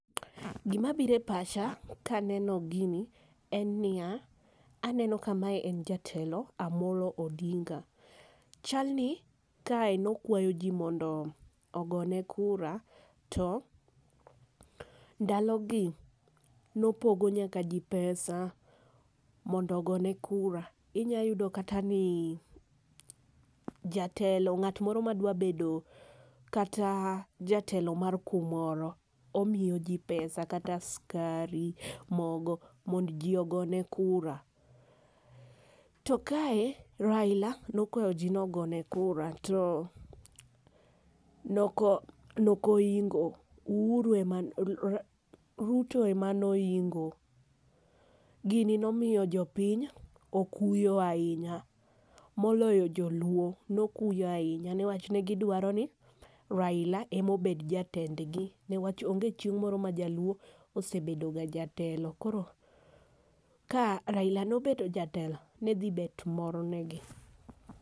Gi ma biro e pacha ka aneno gini en ni ya. Aneno ka ma en jatelo Amollo Odinga. Chalni kae ne okwayo ji mondo ogo ne kura. To ndalo gi chal ni ne opogo nyaka ji pesa mondo ogo ne kura .Inya yudo kata ni jatelo ng'at moro ma dwa bedo kata jatelo mar kumoro omiyo ji pesa, kata sikari, mogo ,mondo ji ogone kura. To kae Raila ne okwayo ji ni ogone kura to ne ok nok oingo. Uhuru emane Ruto ema ne oingo .Gini ne omiyo jopiny okuyo ainya moloyo joluo ne okuyo ainya ne wach ne gi dwaro ni Raila ema obed jatend gi ne wach onge chieng' moro ma jaluo osebedo ga jatelo koro ka Raila ne obet jatelo ne dhi bet mor ne gi.